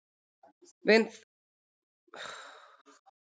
Við þennan kjarnasamruna verður til mikil orka bæði sem varmi og ljós.